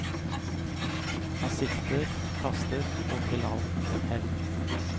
Han sikter, kaster, og til alt hell.